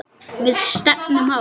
Við stefnum hátt.